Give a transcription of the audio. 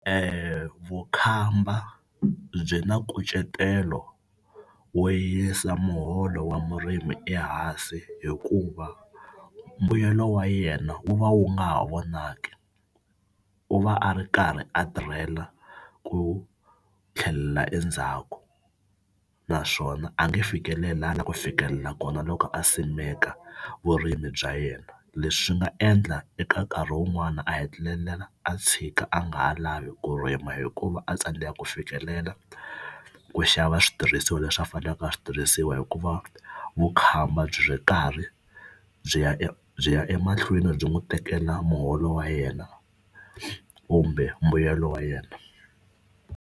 Vukhamba byi na nkucetelo wo yisa muholo wa murimi ehansi hikuva mbuyelo wa yena wu va wu nga ha vonaki. U va a ri karhi a tirhela ku tlhelela endzhaku naswona a nge fikeleli laha a la ku fikelela kona loko a simeka vurimi bya yena. Leswi swi nga endla eka nkarhi wun'wana a hetelela a tshika a nga ha lavi ku rima hikuva a tsandzekaka ku fikelela ku xava switirhisiwa leswi a faneleke swi tirhisiwa hikuva vukhamba byi ri karhi byi ya byi ya emahlweni byi n'wi tekela muholo wa yena kumbe mbuyelo wa yena.